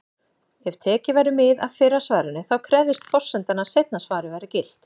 Ef tekið væri mið af fyrra svarinu, þá krefðist forsendan að seinna svarið væri gilt.